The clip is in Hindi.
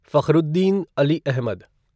फखरुद्दीन अली अहमद